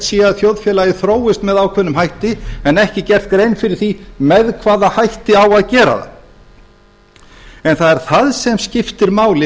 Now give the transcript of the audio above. að þjóðfélagið þróist með ákveðnum hætti en ekki gerð grein fyrir því með hvaða hætti á að gera það en það er það sem skiptir máli